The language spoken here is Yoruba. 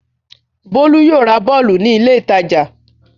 Bólú yóò ra bọ́ọ́lù ní ilé-ìtajà.